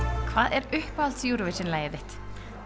er uppáhalds Eurovisionlagið þitt